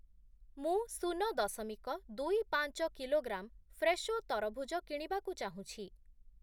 ମୁଁ ଶୂନ ଦଶମିକ ଦୁଇ ପାଞ୍ଚ କିଲୋଗ୍ରାମ୍ ଫ୍ରେଶୋ ତରଭୁଜ କିଣିବାକୁ ଚାହୁଁଛି ।